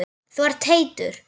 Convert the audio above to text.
Þú ert heitur.